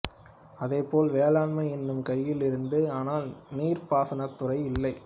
அதே போல வேளாண்மை என் கையில் இருந்தது ஆனால் நீர்ப்பாசனத்துறை இல்லை